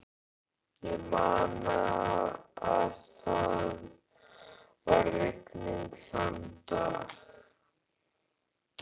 Ég man að það var rigning þann dag.